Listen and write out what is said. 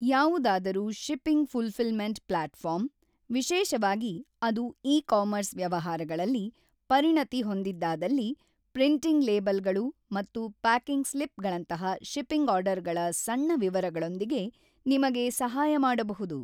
ಯಾವುದಾದರೂ shipping fulfilment platform, ವಿಶೇಷವಾಗಿ ಅದು ಇ-ಕಾಮರ್ಸ್ ವ್ಯವಹಾರಗಳಲ್ಲಿ ಪರಿಣತಿ ಹೊಂದಿದ್ದಾದಲ್ಲಿ, ಪ್ರಿಂಟಿಂಗ್ ಲೇಬಲ್‌ಗಳು ಮತ್ತು ಪ್ಯಾಕಿಂಗ್ ಸ್ಲಿಪ್‌ಗಳಂತಹ ಶಿಪ್ಪಿಂಗ್ ಆರ್ಡರ್‌ಗಳ ಸಣ್ಣ ವಿವರಗಳೊಂದಿಗೆ ನಿಮಗೆ ಸಹಾಯ ಮಾಡಬಹುದು.